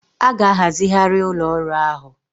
A ga-ahazigharị ụlọ ọrụ ahụ